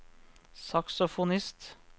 saksofonist